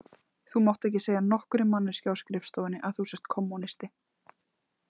Þú mátt ekki segja nokkurri manneskju á skrifstofunni að þú sért kommúnisti